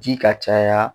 Ji ka caya